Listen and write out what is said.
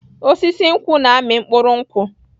Osisi nkwụ na-amị mkpụrụ nkwụ.